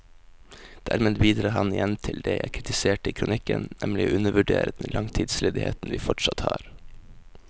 Dermed bidrar han igjen til det jeg kritiserte i kronikken, nemlig å undervurdere den langtidsledigheten vi fortsatt har.